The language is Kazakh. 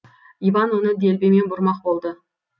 иван оны делбемен бұрмақ болды